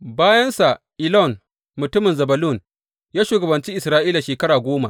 Bayansa, Elon mutumin Zebulun, ya shugabanci Isra’ila shekara goma.